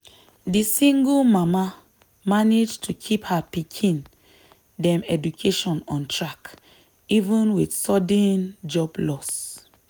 di single mama manage to keep her pikin dem education on track even with sudden job loss.